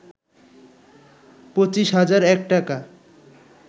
পঁচিশ হাজার এক টাকা